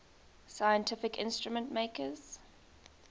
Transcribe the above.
scientific instrument makers